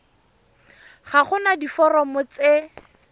ga go na diforomo tse